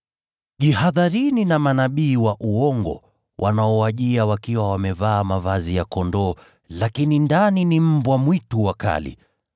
“Jihadharini na manabii wa uongo, wanaowajia wakiwa wamevaa mavazi ya kondoo, lakini ndani ni mbwa mwitu wakali.